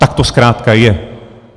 Tak to zkrátka je.